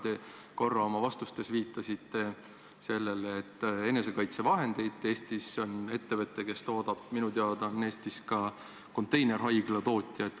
Te korra oma vastustes viitasite sellele, et Eestis on ettevõte, kes toodab isikukaitsevahendeid, minu teada on Eestis ka konteinerhaiglate tootja.